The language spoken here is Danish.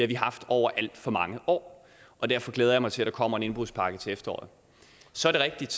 vi haft over alt for mange år og derfor glæder jeg mig til at der kommer en indbrudspakke til efteråret så er det rigtigt